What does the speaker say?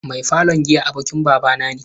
Mai falon giya abokin babana ne.